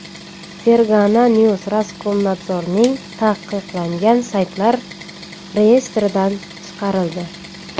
Fergana News Roskomnadzorning taqiqlangan saytlar reyestridan chiqarildi.